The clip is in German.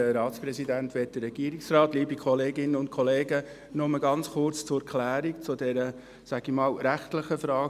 Kommissionspräsident der GSoK. Nur ganz kurz zur Klärung dieser – ich sage einmal – rechtlichen Frage.